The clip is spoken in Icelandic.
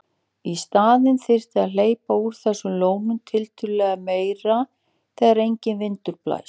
Í staðinn þyrfti að hleypa úr þessum lónum tiltölulega meira þegar enginn vindur blæs.